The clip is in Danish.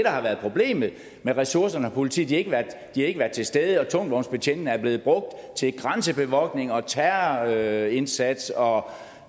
har været problemet med ressourcerne hos politiet de har ikke været til stede og tungvognsbetjentene er blevet brugt til grænsebevogtning og terrorindsats og